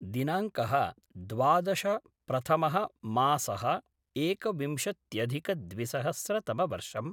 दिनाङ्कः द्वादश प्रथमः मासह्ः एकविंशत्यधिकद्विसहस्रतमवर्षम्